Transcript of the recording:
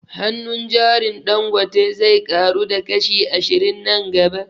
Hannun jarin Dangote zai ƙaru da kashi ashirin nan gaba